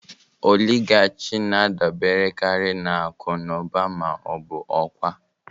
Oligarki na-adaberekarị na akụ na ụba ma ọ bụ ọkwa.